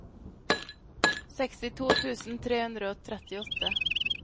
sekstito tusen tre hundre og trettiåtte